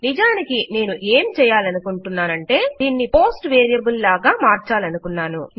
నిజానికి నేను ఏం చేయాలనుకున్నానంటే దీన్ని పోస్ట్ వేరియబుల్ లాగా మార్చాలనుకున్నాను